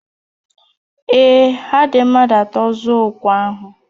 Ee, ha dị mmadụ atọ zụọ okwe ahụ